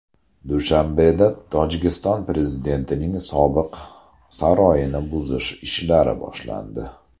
Dushanbeda Tojikiston prezidentining sobiq saroyini buzish ishlari boshlandi.